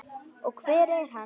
Og hver er hann?